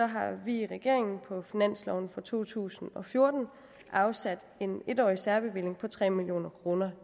har vi i regeringen på finansloven for to tusind og fjorten afsat en en årig særbevilling på tre million kroner